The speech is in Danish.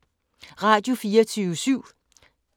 Radio24syv